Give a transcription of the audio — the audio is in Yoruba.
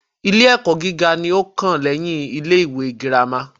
Ilé ẹ́kọ́ gíga ní o kàn lẹ́yin ilé ìwé gírámà.